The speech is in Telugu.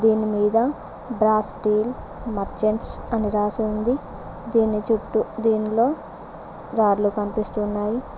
దీని మీద బ్రాస్ స్టీల్ మర్చంట్స్ అని రాసి ఉంది దీని చుట్టూ దీనిలో రాడ్లు కనిపిస్తున్నాయి.